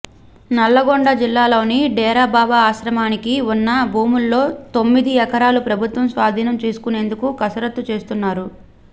నల్లగొండ జిల్లాలో డేరా బాబా ఆశ్రమానికి ఉన్న భూముల్లో తొమ్మిది ఎకరాలను ప్రభుత్వం స్వాధీనం చేసుకునేందుకు కసరత్తు చేస్తున్నారు